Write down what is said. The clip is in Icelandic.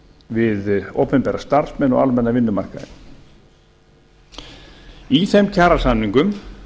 við opinbera starfsmenn og almenna vinnumarkaðinn í þeim kjarasamningum